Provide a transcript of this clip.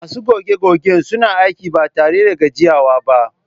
Masu goge-gogen suna aiki ba tare da gajiyawa ba